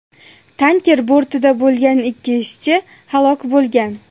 Tanker bortida bo‘lgan ikki ishchi halok bo‘lgan.